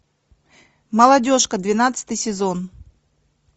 молодежка двенадцатый сезон